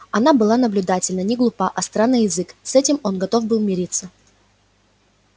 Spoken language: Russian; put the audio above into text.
она была наблюдательна не глупа остра на язык с этим он готов был мириться